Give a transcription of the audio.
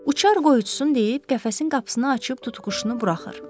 Uçar qoy otsun deyib qəfəsin qapısını açıb tutuquşunu buraxır.